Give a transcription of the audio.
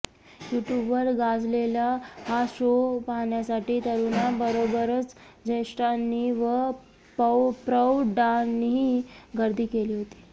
युट्यूबवर गाजलेला हा शो पाहण्यासाठी तरुणांबरोबरच ज्येष्ठांनी व प्रौढांनीही गर्दी केली होती